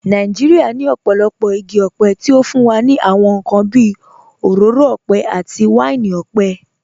Nàìjíríà ní ọ̀pọ̀lọpọ̀ igi ọ̀pẹ tí ó fún wa ní àwọn nǹkan bí òróró ọ̀pẹ àti wáìnì ọ̀pẹ.